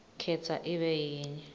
khetsa ibe yinye